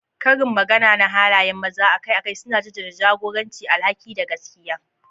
Karin magana na halayen maza akai-akai suna jaddada jagoranci, alhaki, da gaskiya.